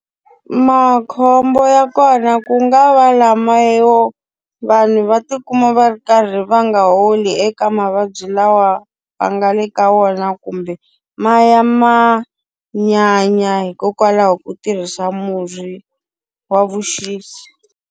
Makhombo ya kona ku nga va lama yo vanhu va ti kuma va ri karhi va nga holi eka mavabyi lawa va nga le ka wona kumbe maya ma nyanya hikokwalaho ko tirhisa murhi wa vuxisi.